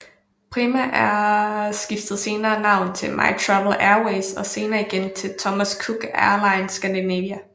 Premiair skiftede senere navn til MyTravel Airways og senere igen til Thomas Cook Airlines Scandinavia